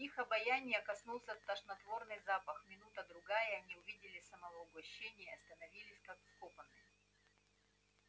их обоняния коснулся тошнотворный запах минута другая и они увидели само угощение и остановились как вкопанные